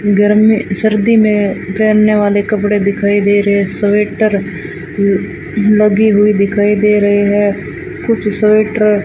गरम में सर्दी में पहनने वाले कपड़े दिखाई दे रहे स्वेटर ल लगी हुई दिखाई दे रही है कुछ स्वेटर --